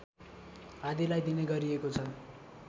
आदिलाई दिने गरिएको छ